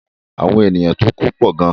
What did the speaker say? Àwọn ènìyàn tó ku pọ̀ gan.